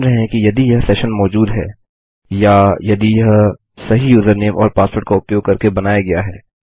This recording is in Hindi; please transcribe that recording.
हम मान रहे हैं कि यदि यह सेशन मौजूद है या यदि यह सही यूजरनेम और पासवर्ड का उपयोग करके बनाया गया है